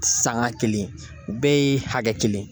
Sanga kelen, u bɛɛ ye hakɛ kelen ye.